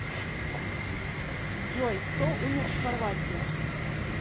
джой кто умер в хорватия